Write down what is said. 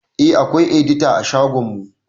Eh akwai edita a shagon mu